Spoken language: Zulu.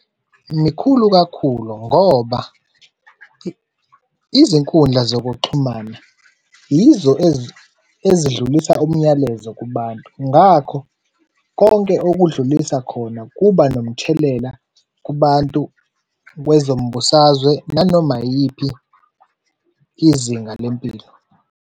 Mikhulu kakhulu ngoba izinkundla zokuxhumana yizo ezidlulisa umyalezo kubantu, ngakho konke okudlulisa khona kuba nomthelela kubantu kwezombusazwe, nanoma yiyiphi izinga lempilo.